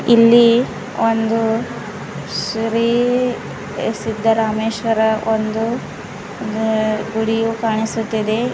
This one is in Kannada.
ಇಲ್ಲಿ ಒಂದು ಶ್ರೀ ಸಿದ್ಧರಾಮೇಶ್ವರ ಒಂದು ಗು ಗುಡಿಯು ಕಾಣಿಸುತ್ತಿದೆ.